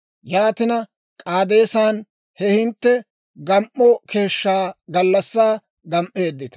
Yaatin K'aadeesan he hintte gam"o keeshshaa gallassaa gam"eeddita.